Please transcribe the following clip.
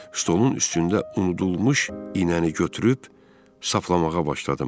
Stolun üstündə unudulmuş iynəni götürüb saflamağa başladım.